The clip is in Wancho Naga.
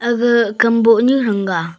ga kamboh nu thang ga.